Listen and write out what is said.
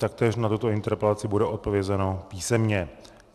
Taktéž na tuto interpelaci bude odpovězeno písemně.